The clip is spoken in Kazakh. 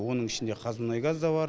оның ішінде қазмұнайгаз да бар